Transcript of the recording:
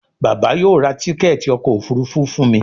Bàbá yóò rá Tíkẹ́ẹ̀tì ọkọ̀ òfurufú fún mí